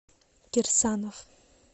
кирсанов